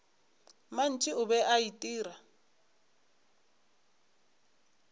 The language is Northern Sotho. mantši o be a itira